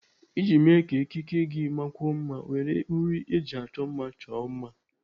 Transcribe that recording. Iji mee ka ekike gị makwuo mma, were uri eji achọ mma chọọ mma.